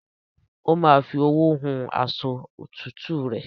Ó ma fi owó hun aṣọ òtútùre